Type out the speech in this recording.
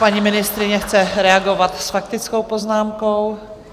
Paní ministryně chce reagovat s faktickou poznámkou.